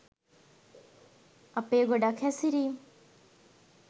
අපේ ගොඩක් හැසිරීම්